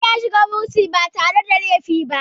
John ya shiga bursin ba da laifi ba